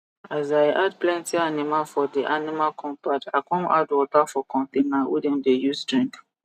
as i add plenty animal for d animal compound i come add water for container wey dem dey use drink